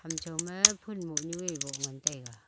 ejow ma fhun moh nu ea woh ngan taiga.